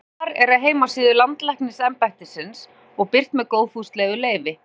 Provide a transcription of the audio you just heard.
þetta svar er af heimasíðu landlæknisembættisins og birt með góðfúslegu leyfi